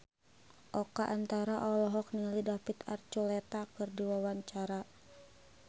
Oka Antara olohok ningali David Archuletta keur diwawancara